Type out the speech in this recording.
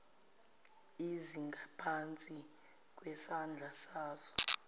ezingaphansi kwesandla saso